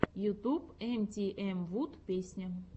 ютуб эмтиэмвуд песня